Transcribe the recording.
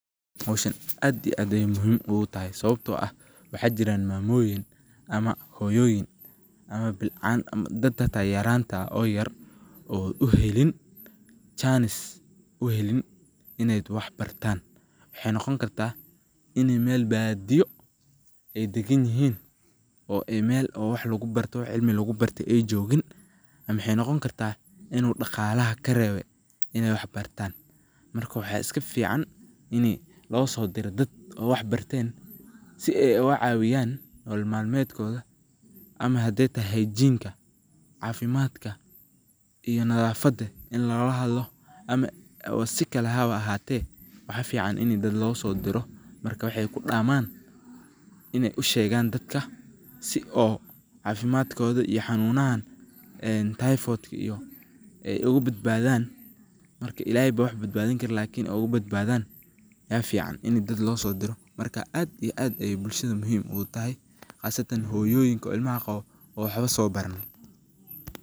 Howshan aad iyo aad ayey muhiim ogutahay sawabto ah waxa jira mamoyin ama hoyoyin oo yarabti janis uhelin in ey wax bartan. Waxay noqoni karta in ey badiyo daganyihin oo meel cilmi lugubarto heli ama uu daqlaha karebe in ey wax bartan marka waxa iskafican ini oo losodiro dad oo wax barten si ey ogacawiyan nolol malmedkoda ma hadey tahay hygeine cafimadka iyo nadafada in lagalahadlo ama sikale hawa ahante waxa fican ini dad losodiro oo wexey kudaman ushegan dadka si ey xanunahan sida typhoid ey ogabadbadan marka illahey aya wax badbadin karo lakin ogbadbadan aya fican marka dad inii losodiro marka aad iyo aad ayey muhiim ogutahay qasatan hoyoyinka carurta watan oo waxbo sobaran.